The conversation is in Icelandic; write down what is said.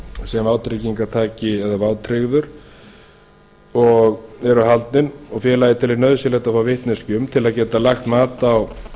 sem vátryggingartaki eða vátryggður eru haldin og félagið telur nauðsynlegt að fá vitneskju um til að geta lagt mat á